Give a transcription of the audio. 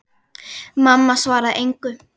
Mamma svaraði engu.